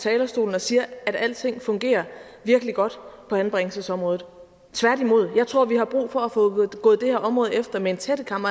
talerstolen og siger at alting fungerer virkelig godt på anbringelsesområdet tværtimod jeg tror vi har brug for at få gået det her område efter med en tættekam